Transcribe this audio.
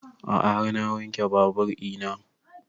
A'a har na wanke babur ina